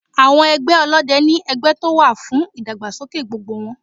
Àwọn ẹgbẹ́ Ọlọ́dẹ ni ẹgbẹ́ tó wà fún ìdàgbàsókè gbogbo wọn.